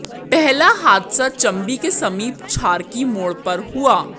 पहला हादसा चंबी के समीप छारकी मोड़ पर हुआ